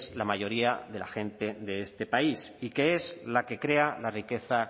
la mayoría de la gente de este país y que es la que crea la riqueza